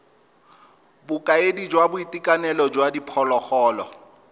bokaedi jwa boitekanelo jwa diphologolo